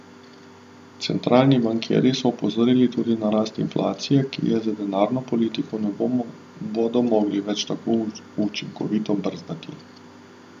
Centralni bankirji so opozorili tudi na rast inflacije, ki je z denarno politiko ne bodo mogli več tako učinkovito brzdati.